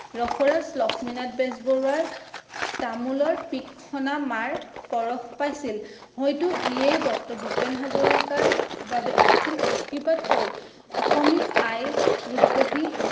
ৰসৰাজ লক্ষ্মীনাথ বেজবৰুৱাৰ তামোলৰ পিক সনা মাৰ পৰশ পাইছিল। হয়তো ইয়েই ডক্টৰ ভূপেন হাজৰিকাৰ বাবে আছিল আৰ্শীবাদ স্বৰূপ, অসমী আই ৰূপহী